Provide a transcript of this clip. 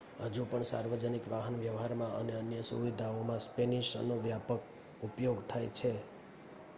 હજુ પણ સાર્વજનિક વાહનવ્યવહારમાં અને અન્ય સુવિધાઓમાં સ્પેનિશનો વ્યાપક ઉપયોગ થાય છે